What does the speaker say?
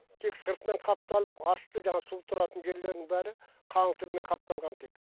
тек сыртымен қапталып асты жаңағы су тұратын жерлерінің бәрі қаңылтырмен қапталған тек